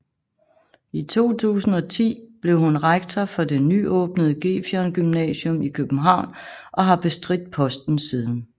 I 2010 blev hun rektor for det nyåbnede Gefion Gymnasium i København og har bestridt posten siden